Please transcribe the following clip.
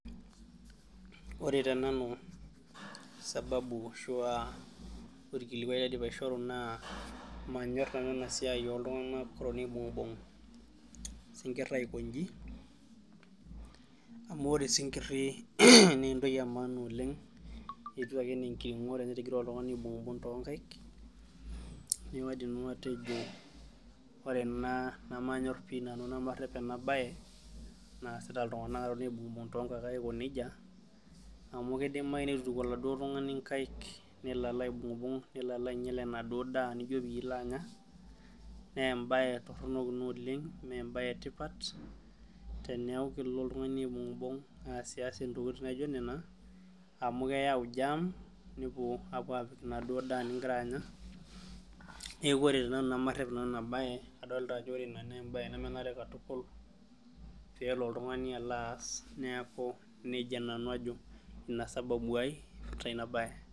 Ore tenanu, sababu ashua orkilikwai laidim aishoru naa, manyor nanu enasiai oltung'anak otoni aibung'bung' isinkirr aikoji, amu ore osinkirri nentoki emaana oleng, etiu ake enenkiring'o tenetigira oltung'ani aibung'bung' tonkaik, neku kaidim nanu atejo ore ena nemanyor pi nanu nemarrep enabae, naasita iltung'anak atoni aibung'bung tonkaik aiko nejia, amu kidimayu nitu ituku aladuo tung'ani nkaik, nelo alo aibung'bung, nelo alo ainyel enaduo daa nijo pilo anya, nebae torronok ina oleng, mebae etipat, teneeku kelo oltung'ani aibung'bung aasias intokiting naijo nena, amu keyau [c] germ ,nepuo apik enaduo daa nigira anya. Neeku ore tenanu nemarrep nanu inabae, adolta ajo ore ina nebae nemenare katukul, pelo oltung'ani alo aas, neeku nejia nanu ajo. Ina sababu ai, teina bae.